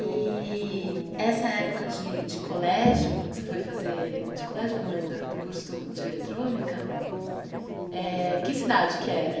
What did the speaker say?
E essa época de de colégio que você foi fazer, de colégio não é, do curso de eletrônica, eh que cidade que era?